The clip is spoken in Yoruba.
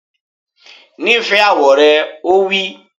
Nífẹ̀ẹ́ àwọ̀ rẹ! Ó wí